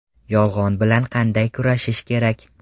Yolg‘on bilan qanday kurashish kerak?